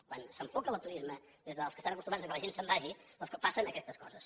quan s’enfoca el turisme des dels que estan acostumats que la gent se’n vagi doncs és quan passen aquestes coses